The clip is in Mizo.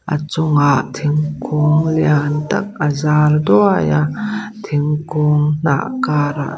a chungah thingkung lian tak a zar duai a thingkung hnah kar ah--